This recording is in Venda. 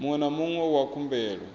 muṅwe na muṅwe wa khumbelo